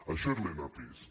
això és l’enapisc